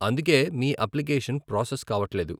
అందుకే మీ application process కావట్లేదు .